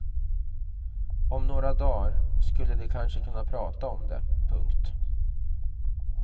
Om några dagar skulle de kanske kunna prata om det. punkt